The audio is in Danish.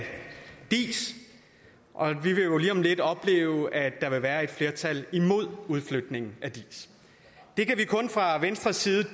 diis og vi vil jo lige om lidt opleve at der vil være et flertal imod udflytningen det kan vi fra venstres side